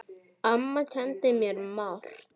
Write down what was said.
Amma kenndi mér margt.